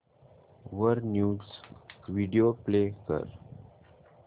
वर news video play कर